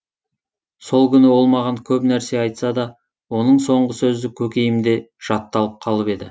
сол күні ол маған көп нәрсе айтса да оның соңғы сөзі көкейімде жатталып қалып еді